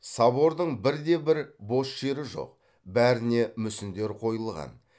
собордың бір де бір бос жері жоқ бәріне мүсіндер қойылған